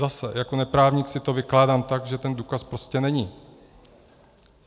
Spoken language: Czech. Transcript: Zase jako neprávník si to vykládám tak, že ten důkaz prostě není.